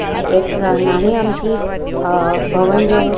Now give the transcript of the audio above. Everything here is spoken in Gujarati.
આ એક નાની અમથી અ ભવન જેવું--